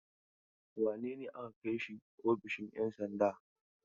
Wane ne aka kai shi ofishin 'yan sanda?